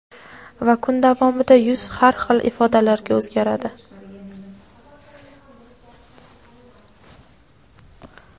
Va kun davomida yuz har xil ifodalarga o‘zgaradi.